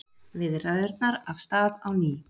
Viðræðurnar af stað á ný